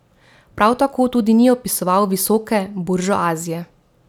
Prav tako tudi ni opisoval visoke buržuazije.